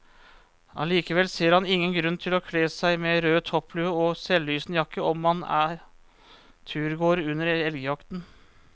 Allikevel ser han ingen grunn til å kle seg med rød topplue og selvlysende jakke om man er turgåer under elgjakten.